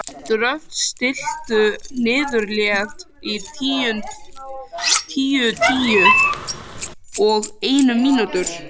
Dröfn, stilltu niðurteljara á níutíu og eina mínútur.